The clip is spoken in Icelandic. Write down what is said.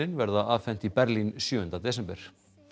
verða afhent í Berlín sjöunda desember